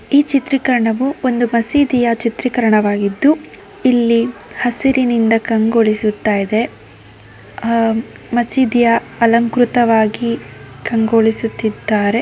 ಈ ಚಿತ್ರೀಕರಣವು ಒಂದು ಮಸೀದಿಯ ಚಿತ್ರಿಕರಣವಾಗಿದ್ದು ಇಲ್ಲಿ ಹಸಿರಿನಿಂದ ಕಂಗೊಳಿಸುತ್ತಾಇದೆ ಆಹ್ಹ್ ಮಸೀದಿಯ ಅಲಂಕ್ರುತವಾಗಿ ಕಂಗೊಳಿಸುತ್ತಿದ್ದಾರೆ.